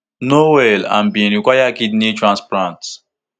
no well and bin require kidney transplant